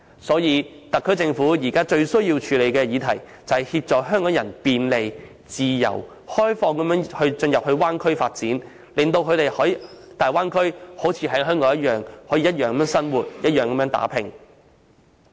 所以，特區政府現在最需要處理的議題，是協助港人便利、自由及開放地進入大灣區發展，令他們在大灣區內可如同在香港一般生活和打拼。